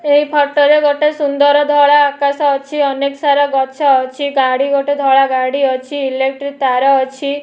ଏଇ ଫୋଟ ରେ ଗୋଟେ ସୁନ୍ଦର ଧଳା ଆକାଶ ଅଛି ଅନେକ ସାରା ଗଛ ଅଛି ଗାଡି ଗୋଟେ ଧଳା ଗାଡି ଅଛି ଇଲେକ୍ଟ୍ରି ତାର ଅଛି।